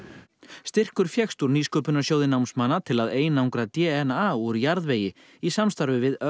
styrkur fékkst úr nýsköpunarsjóði námsmanna til að einangra d n a úr jarðvegi í samstarfi við